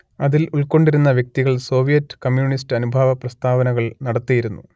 അതിൽ ഉൾക്കൊണ്ടിരുന്ന വ്യക്തികൾ സോവിയറ്റ് കമ്മ്യൂണിസ്റ്റ് അനുഭാവ പ്രസ്താവനകൾ നടത്തിയിരുന്നു